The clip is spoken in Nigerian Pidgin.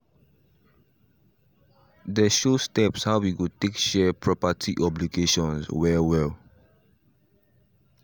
they show steps how we go take share property obligations well well